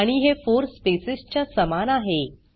आणि हे 4 स्पेसेस च्या समान आहे